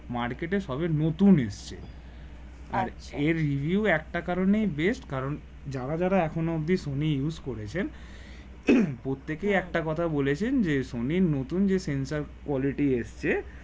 মার্কেটে সবে নতুন এসছে এর review একটা কারণে best কারণ যারা যারা এখনও অব্দি সনি use করেছেন প্রত্যেকে একটা কথা বলেছেন যে সনি নতুন যে সেন্সার quality এসছে